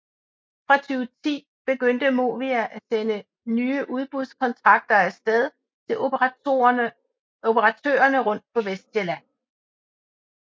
Fra 2010 begyndte Movia at sende nye udbudskontrakter afsted til operatørerne rundt på Vestsjælland